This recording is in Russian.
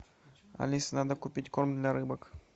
алиса надо купить корм для рыбок